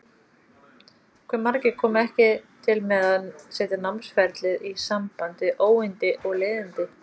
Hve margir komu ekki til með að setja námsferlið í samband við óyndi og leiðindi?